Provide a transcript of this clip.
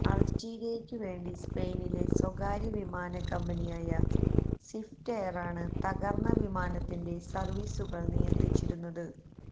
അള്ജീരിയക്കുവേണ്ടി സ്പെയിനിലെ സ്വകാര്യ വിമാനക്കമ്പനിയായ സ്വിഫ്റ്റ് എയറാണ് തകര്ന്ന വിമാനത്തിന്റെ സര്വ്വീസുകള് നിയന്ത്രിച്ചിരുന്നത്